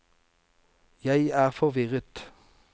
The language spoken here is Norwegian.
jeg er forvirret